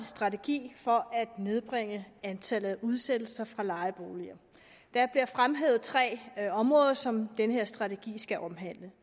strategi for at nedbringe antallet af udsættelser fra lejeboliger der bliver fremhævet tre områder som den her strategi skal omhandle